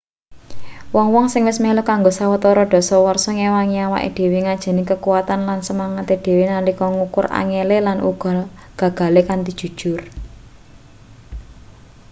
wong-wong sing wis melu kanggo sawetara dasawarsa ngewangi awake dhewe ngajeni kakuwatan lan semangate dhewe nalika ngukur angele lan uga gagale kanthi jujur